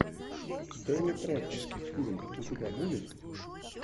дэнни трехо фильм у тебя будет